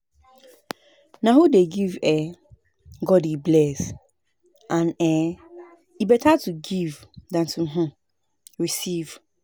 Na who dey give um God dey bless and um e beta to give dan to um receive